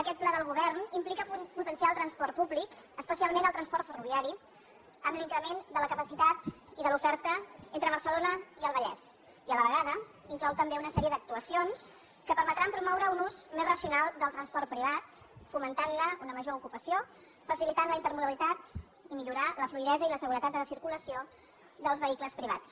aquest pla del govern implica potenciar el transport públic especialment el transport ferroviari amb l’increment de la capacitat i de l’oferta entre barcelona i el vallès i a la vegada inclou també una sèrie d’actuacions que permetran promoure un ús més racional del transport privat fomentar ne una major ocupació facilitar la intermodalitat i millorar la fluïdesa i la seguretat de la circulació dels vehicles privats